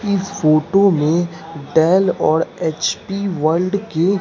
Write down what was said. इस फोटो में डैल और एच_पी वर्ल्ड की--